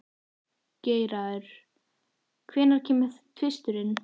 Geirarður, hvenær kemur tvisturinn?